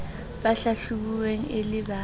ba hlahlobilweng e le ba